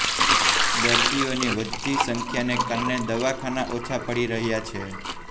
દર્દીઓની વધતી સંખ્યાને કારણે દવાખાના ઓછા પડી રહ્યા છે